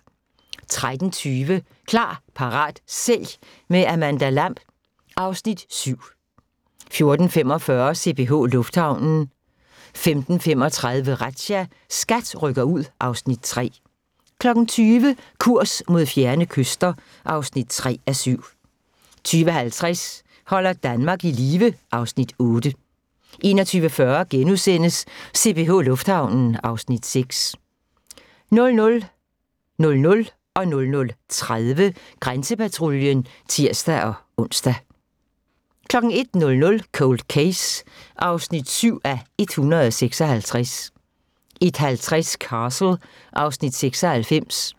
13:20: Klar, parat, sælg – med Amanda Lamb (Afs. 7) 14:45: CPH Lufthavnen 15:35: Razzia – SKAT rykker ud (Afs. 3) 20:00: Kurs mod fjerne kyster (3:7) 20:50: Holder Danmark i live (Afs. 8) 21:40: CPH Lufthavnen (Afs. 6)* 00:00: Grænsepatruljen (tir-ons) 00:30: Grænsepatruljen (tir-ons) 01:00: Cold Case (7:156) 01:50: Castle (Afs. 96)